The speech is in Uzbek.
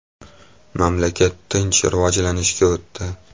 Mamlakat tinch rivojlanishga o‘tdi.